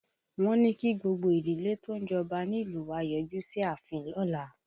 Wọ́n ní kí gbogbo ìdílé tó ń jọba nílùú wa ó yọjú sí ààfin lọ́la